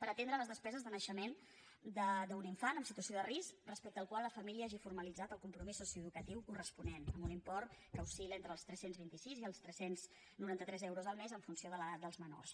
per atendre les despeses de naixement d’un infant en situ·ació de risc respecte al qual la família hagi formalitzat el compromís socioeducatiu corresponent amb un im·port que oscil·funció de l’edat dels menors